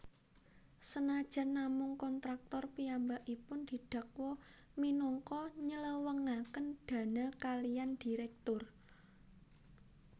Senajan namung kontraktor piyambakipun didakwa minangka nylewengaken dana kaliyan direktur